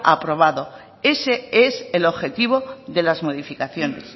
aprobado ese es el objetivo de las modificaciones